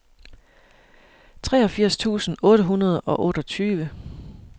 treogfirs tusind otte hundrede og otteogtyve